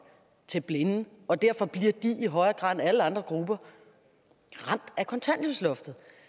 til blinde og derfor bliver de i højere grad end alle andre grupper ramt af kontanthjælpsloftet